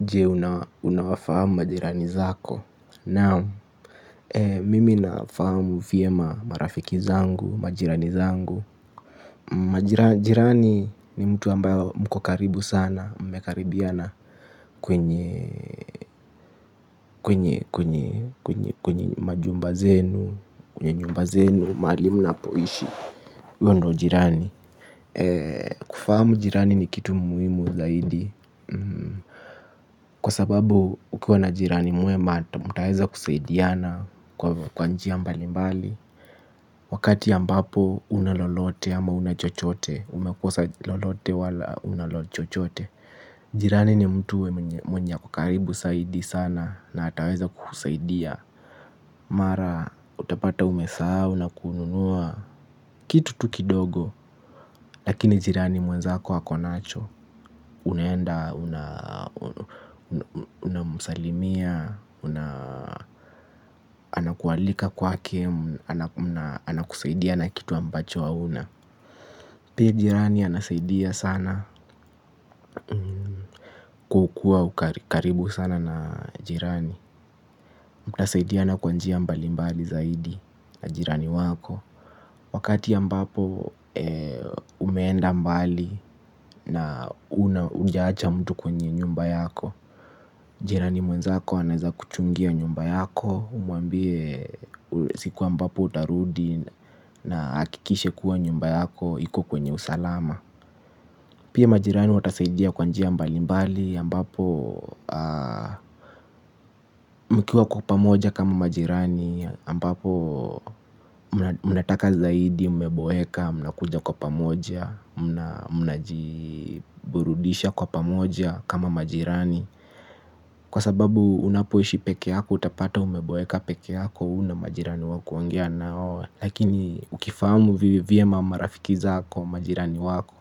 Je, unawafahamu majirani zako? Naam mimi nafahamu vyema marafiki zangu, majirani zangu. Majirani ni mtu ambayo mko karibu sana, mmekaribiana kwenye, kwenye, kwenye, kwenye, kwenye, kwenye majumba zenu, kwenye nyumba zenu, mahali mnapoishi. Huyo ndio jirani. Kufahamu jirani ni kitu muhimu zaidi kwa sababu ukiwa na jirani mwema mtaweza kusaidiana kwa njia mbalimbali. Wakati ambapo huna lolote ama huna chochote umekosa lolote wala huna chochote. Jirani ni mtu mwenye ako karibu zaidi sana na ataweza kukusaidia mara utapata umesahau na kununua kitu tu kidogo. Lakini jirani mwezako ako nacho. Unaenda, unamsalimia, anakualika kwake, anakusaidia na kitu ambacho hauna. Pia jirani anasaidia sana kukuwa karibu sana na jirani. Mtasaidiana kwa njia mbalimbali zaidi na jirani wako. Wakati ambapo umeenda mbali na hujaacha mtu kwenye nyumba yako. Jirani mwenzako anaweza kuchungia nyumba yako, umwambie siku ambapo utarudi na ahakikishe kuwa nyumba yako iko kwenye usalama. Pia majirani watasaidia kwa njia mbalimbali ambapo mkiwa kwa pamoja kama majirani ambapo mnataka zaidi, mmeboeka mnakuja kwa pamoja. Mnajiburudisha kwa pamoja kama majirani, kwa sababu unapoishi peke yako utapata umeboeka peke yako. Huna majirani wakuongea na wao. Lakini ukifahamu vyema marafiki zako, majirani wako